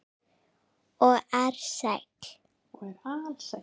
Og er alsæll.